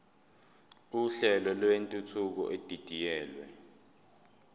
uhlelo lwentuthuko edidiyelwe